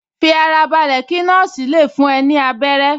Fi ara balẹ̀ kí nọ́ọ̀sì le fún ẹ ní abẹ́rẹ́